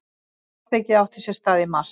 Atvikið átti sér stað í mars